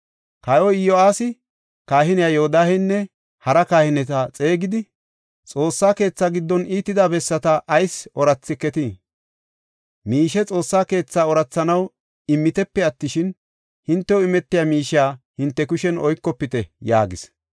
Kawoy Iyo7aasi kahiniya Yoodahenne hara kahineta xeegidi, “Xoossa keetha giddon iitida bessata ayis ooratheketii? Miishe Xoossa keetha oorathanaw immitepe attishin, hintew imetiya miishiya hinte kushen oykofite” yaagis.